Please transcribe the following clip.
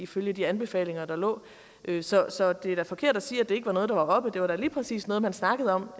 fulgte de anbefalinger der lå så så det er da forkert at sige at det ikke var noget der var oppe det var da lige præcis noget man snakkede om